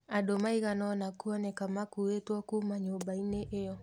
Andũ maiganona kũoneka makuĩtwo kuma nyũmba-inĩ ĩyo.